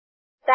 type